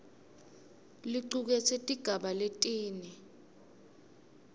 licuketse tigaba letine